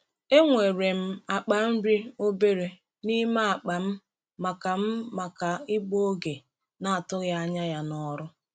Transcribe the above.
Enwere m akpa nri obere n’ime akpa m maka m maka igbu oge na-atụghị anya ya n’ọrụ.